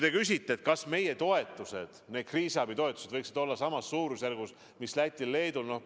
Te küsite, kas meie toetused, need kriisiabitoetused võiksid olla samas suurusjärgus mis Lätil ja Leedul.